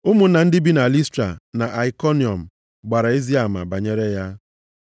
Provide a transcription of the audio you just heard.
Ụmụnna ndị bi na Listra na Aikoniọm gbara ezi ama banyere ya.